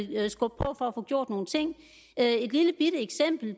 få gjort nogle ting